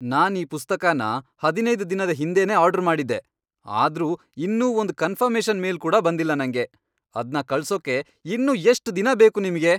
ನಾನ್ ಈ ಪುಸ್ತಕನ ಹದಿನೈದ್ ದಿನ ಹಿಂದೆನೇ ಆರ್ಡರ್ ಮಾಡಿದ್ದೆ, ಆದ್ರೂ ಇನ್ನೂ ಒಂದ್ ಕನ್ಫರ್ಮೇಷನ್ ಮೇಲ್ ಕೂಡ ಬಂದಿಲ್ಲ ನಂಗೆ. ಅದ್ನ ಕಳ್ಸೋಕೆ ಇನ್ನೂ ಎಷ್ಟ್ ದಿನ ಬೇಕು ನಿಮ್ಗೆ?